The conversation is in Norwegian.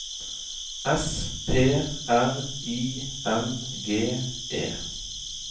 S P R I N G E